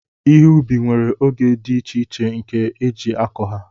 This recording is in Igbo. ihe ubi nwere oge dị iche iche nke eji akọ ha